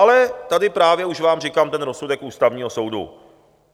Ale tady právě už vám říkám ten rozsudek Ústavního soudu.